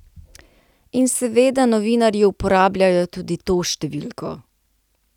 In seveda novinarji uporabljajo tudi to številko.